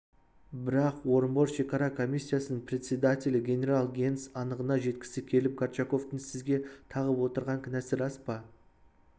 бірақ орынбор шекара комиссиясының председателі генерал генс анығына жеткісі келіп горчаковтың сізге тағып отырған кінәсі рас па